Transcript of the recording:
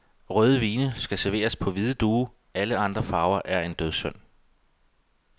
Røde vine skal serveres på hvide duge, alle andre farver er en dødssynd.